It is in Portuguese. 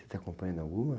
Você está acompanhando alguma?